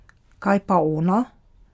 Kaj pa ona?